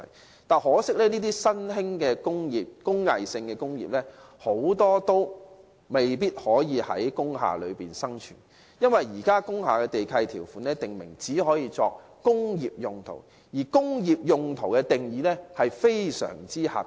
然而，很可惜，這些新興的工藝性工業大多無法在工廈生存，因為現時工廈地契條款訂明，工廈只用作工業用途，而工業用途的定義卻非常狹窄。